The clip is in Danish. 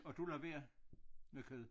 Og du lader være med kød